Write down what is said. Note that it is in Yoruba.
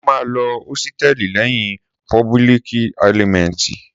Sọ mà ló òsítẹlí leyin póbùlíkì ẹlímẹtí?